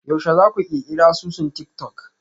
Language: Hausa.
Yaushe za ku ƙirƙiri asusun tik-tok?